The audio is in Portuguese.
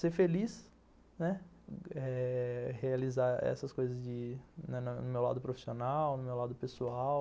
Ser feliz, né, realizar essas coisas no meu lado profissional, no meu lado pessoal.